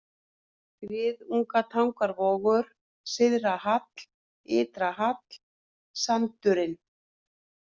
Griðungatangavogur, Syðra-Hall, Ytra-Hall, Sandurinn